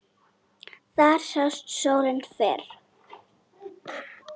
Þar sást sólin fyrr.